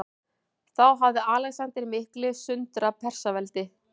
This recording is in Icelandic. Þá hafði Alexander mikli sundrað Persaveldi.